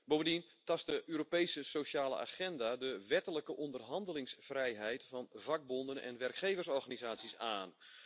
Bovendien tast de Europese sociale agenda de wettelijke onderhandelingsvrijheid van vakbonden en werkgeversorganisaties aan.